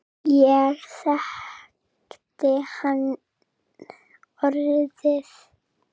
Ég þekkti hann orðið.